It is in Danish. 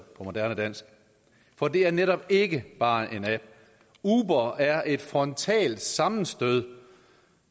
på moderne dansk for det er netop ikke bare en app uber er et frontalt sammenstød